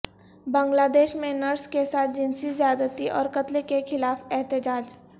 بنگلہ دیش میں نرس کے ساتھ جنسی زیادتی اور قتل کے خلاف احتجاج